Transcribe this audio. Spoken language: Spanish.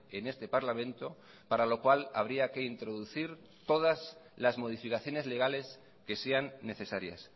en este parlamento para lo cual habría que introducir todas las modificaciones legales que sean necesarias